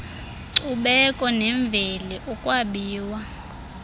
nkcubeko nemveli ukwabiwa